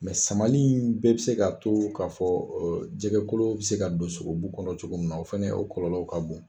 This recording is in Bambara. Mɛ samali in bɛɛ bɛ se ka to k'a fɔ jɛgɛkolo bɛ se ka don sogobu kɔnɔ cogo min na o fɛnɛ o kɔlɔlɔw ka bon.